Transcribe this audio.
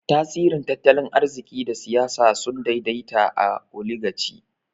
Tasirin tattalin arziki da siyasa sun daidaita a Oligaci.